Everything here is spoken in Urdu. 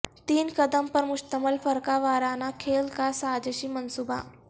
تین قدم پر مشتمل فرقہ وارانہ کھیل کا سازشی منصوبہ